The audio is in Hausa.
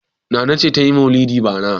Nana ce ta yi maulidi bara.